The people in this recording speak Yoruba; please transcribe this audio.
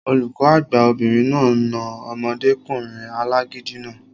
Olùkọ́ àgbà obìnrin náà na omọdékùnrin alágídí náà